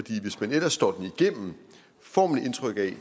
hvis man ellers står den igennem får man indtryk af